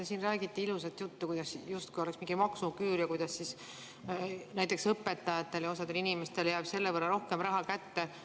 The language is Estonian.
Te siin räägite ilusat juttu, kuidas justkui oleks mingi maksuküür ja kuidas näiteks õpetajatele ja osadele inimestele jääb selle võrra rohkem raha kätte.